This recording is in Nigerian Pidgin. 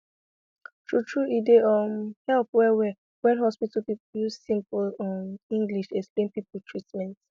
true true e dey um help well well wen hospital people use simple um english explain people treatment